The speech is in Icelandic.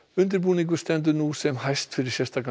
undirbúningur stendur nú sem hæst fyrir sérstakan